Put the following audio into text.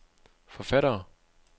forfattere